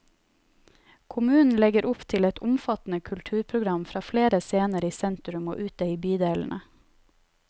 Kommunen legger opp til et omfattende kulturprogram fra flere scener i sentrum og ute i bydelene.